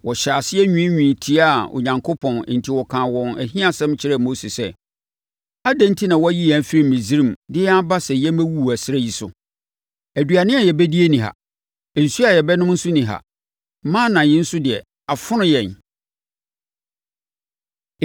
Wɔhyɛɛ aseɛ nwiinwii tiaa Onyankopɔn enti wɔkaa wɔn ahiasɛm kyerɛɛ Mose sɛ, “Adɛn enti na woayi yɛn afiri Misraim de yɛn aba sɛ yɛmmɛwuwu ɛserɛ yi so? Aduane a yɛbɛdie nni ha. Nsuo a yɛbɛnom nso nni ha. Mana yi nso deɛ, afono yɛn.”